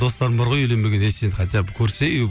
достарым бар ғой үйленбеген ей сен хотя бы